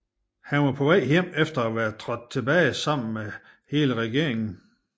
Han var på vej hjem efter at være trådt tilbage sammen med hele regeringen